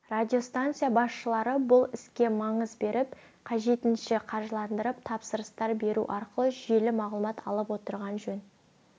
радиостанция басшылары бұл іске маңыз беріп қажетінше қаржыландырып тапсырыстар беру аркылы жүйелі мағлұмат алып отырғаны жөн